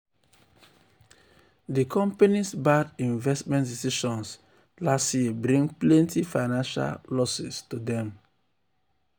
di company's bad investment decisions last year bring plenty financial losses.